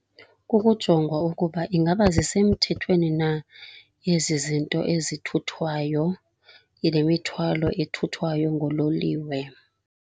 Kukujongwa ukuba ingaba zisemthethweni na ezi zinto ezithuthwayo, le mithwalo ethuthwayo nguloliwe.